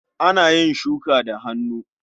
Ana shuka da hannu.